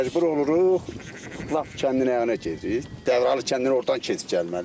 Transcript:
Məcbur oluruq lap kəndin ayağına keçib Dəvralı kəndindən ordan keçib gəlməyə.